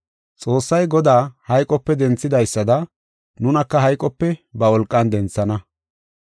Xoossay Godaa hayqope denthidaysada, nunaka hayqope ba wolqan denthana.